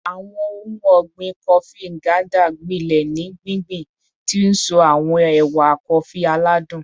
Awọn ohun ọgbin Kofi Nganda gbilẹ ni gbingbin, ti nso awọn ewa kofi aladun